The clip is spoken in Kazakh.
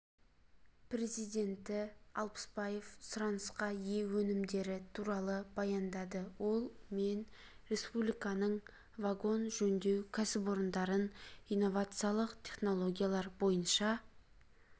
президенті алпысбаев сұранысқа ие өнімдері туралы баяндады ол мен республиканың вагон жөндеу кәсіпорындарын инновациялық технологиялар бойынша